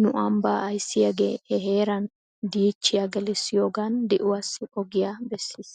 nu ambba ayssiyaagee he heeran diichiyaa gelissiyoogan di'uwaassi ugiyaa bessis.